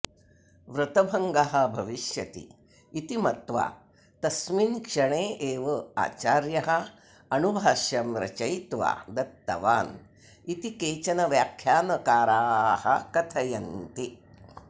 व्रतभङ्गः भविष्यति इति मत्वा तस्मिन् क्षणे एव आचार्यः अणुभाष्यं रचयित्वा दत्तवान् इति केचन व्याख्यानकाराः कथयन्ति